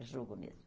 É jogo mesmo.